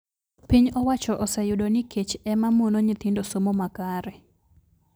Piny owacho oseyudo n kech e ma mono nyithindo somo makare